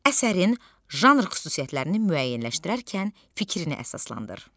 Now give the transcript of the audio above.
Əsərin janr xüsusiyyətlərini müəyyənləşdirərkən fikrini əsaslandır.